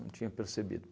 Não tinha percebido.